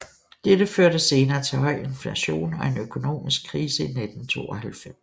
Dette førte senere til høj inflation og en økonomisk krise i 1992